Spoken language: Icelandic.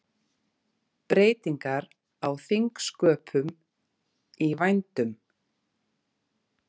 Breytingar á þingsköpum í vændum